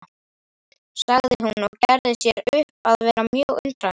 sagði hún og gerði sér upp að vera mjög undrandi.